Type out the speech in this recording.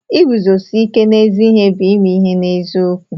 Iguzosi ike n'ezi ihe bụ ime ihe n'eziokwu.